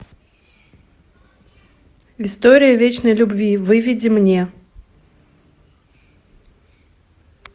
история вечной любви выведи мне